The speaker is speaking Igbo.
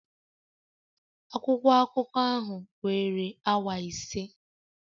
Akwụkwọ akụkọ ahụ were awa ise